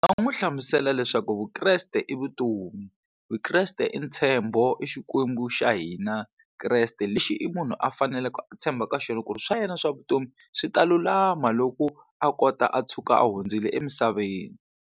Nga n'wi hlamusela leswaku Vukreste i vutomi Vukreste i ntshembo i Xikwembu xa hina Kreste lexi i munhu a faneleke a tshemba ka xona ku ri swa yena swa vutomi swi ta lulama loko a kota a tshuka a hundzile emisaveni.